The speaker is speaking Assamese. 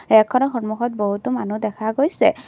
ৰেকখনৰ সন্মুখত বহুতো মানুহ দেখা গৈছে।